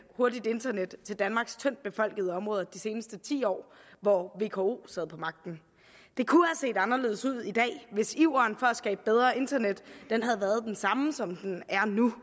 hurtigt internet til danmarks tyndtbefolkede områder de seneste ti år hvor vko sad på magten det kunne have set anderledes ud i dag hvis iveren for at skabe bedre internet havde været den samme som den er nu